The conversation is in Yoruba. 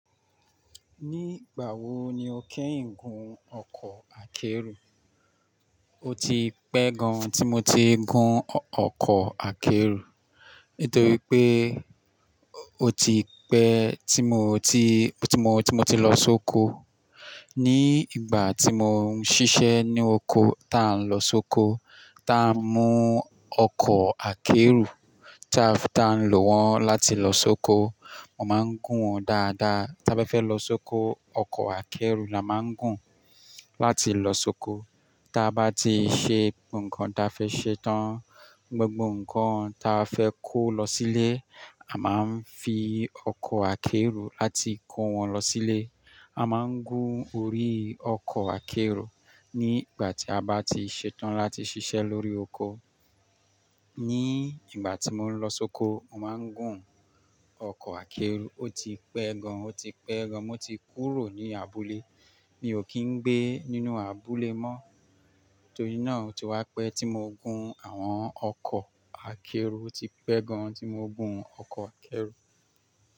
Ni ígbàwo ni o kẹ́yin gun ọkọ̀ akẹ́rù? O ti pẹ́ gan tí mo ti gun ọkọ̀ akẹ́rù. Nítorí pé o ti pẹ́ tí mo ti, tí mo, tí mo ti lọ sóko. Ni ìgbà tí mò ń ṣiṣẹ́ ní oko tá ń lọ sóko, tá ń mú ọkọ̀ akẹ́rù tá ń lo wọ́n láti lọ sóko. Mo máa ń gùn wọ́n dáadáa. Tá bá fẹ́ lọ sóko, ọkọ̀ akẹ́rù la máa ń gùn láti lọ sóko. Tá bá ti ṣe nǹkan ta fẹ́ ṣe tán, gbogbo nǹkan ta fẹ́ kó lọ sílé, a máa ń fi ọkọ̀ akẹ́rù láti kó wọn lọ sílé. A máa ń gùn orí ọkọ̀ akẹ́rù nígbà tí a bá ti ṣetán láti ṣiṣẹ́ lórí oko. Ni ìgbà tí mò ń lọ sóko, mo máa ń gùn ọkọ̀ akẹ́rù. O ti pẹ́ gan. O ti pẹ́ gan. Mo ti kúrò ní abúlé. Mi ò kí ń gbé nínú abúlé mọ́. Torí náà, ó ti wá pẹ́ tí mo gun àwọn ọkọ̀ akẹ́rù. O ti pẹ́ gan tí mo gun ọkọ̀ akẹ́rù.